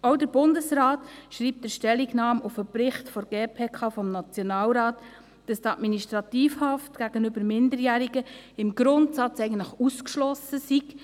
Auch der Bundesrat schreibt in der Stellungnahme auf den Bericht der GPK-N, dass die Administrativhaft gegenüber Minderjährigen im Grundsatz eigentlich ausgeschlossen sei.